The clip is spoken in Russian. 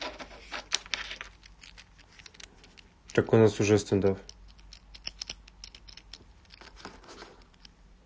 так у нас уже стандофф